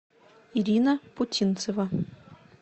ирина путинцева